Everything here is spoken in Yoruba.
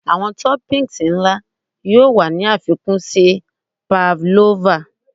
Awọn toppings nla yoo wa ni afikun si pavlova